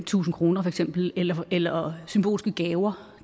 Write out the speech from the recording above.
tusind kroner for eksempel eller symbolske gaver